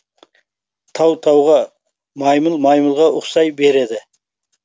тау тауға маймыл маймылға ұқсай береді